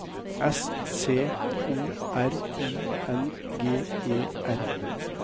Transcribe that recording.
S C O R I N G E R